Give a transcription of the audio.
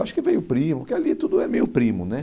acho que veio primo, porque ali tudo é meio primo, né?